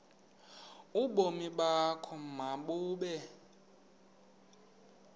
ubomi bakho mabube